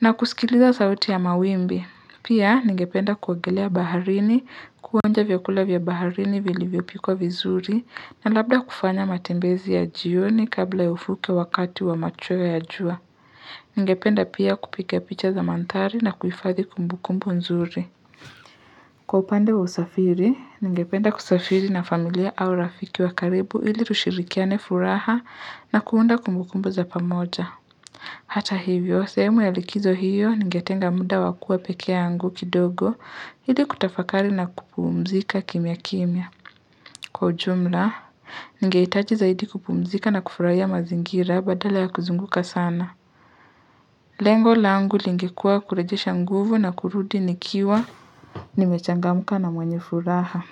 na kusikiliza sauti ya mawimbi. Pia, ningependa kuogelea baharini, kuonja vyakula vya baharini vilivyopikwa vizuri, na labda kufanya matembezi ya jioni kabla ufike wakati wa macheo ya jua. Ningependa pia kupiga picha za manthari na kuifadhi kumbukumbu nzuri. Kwa upande wa usafiri, ningependa kusafiri na familia au rafiki wa karibu ili tushirikiane furaha na kuunda kumbukumbu za pamoja. Hata hivyo, sehemu ya likizo hiyo, ningetenga muda wa kua pekee angu kidogo, hili kutafakari na kupumzika kimya kimya. Kwa ujumla, ningehitaji zaidi kupumzika na kufurahia mazingira badala ya kuzunguka sana. Lengo la angu lingekua kurejesha nguvu na kurudi nikiwa, nimechangamuka na mwenye furaha.